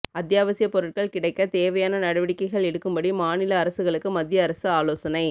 அத்யாவசிய பொருட்கள் கிடைக்க தேவையான நடவடிக்கைகள் எடுக்கும்படி மாநில அரசுகளுக்கு மத்திய அரசு ஆலோசனை